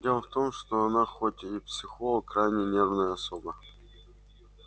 дело в том что она хоть и психолог крайне нервная особа